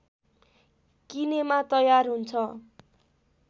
किनेमा तयार हुन्छ